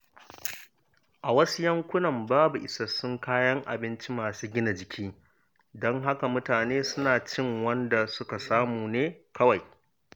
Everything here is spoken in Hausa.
A wasu yankunan babu isassun kayan abinci masu gina jiki, don haka mutane suna cin wanda suka samu ne kawai.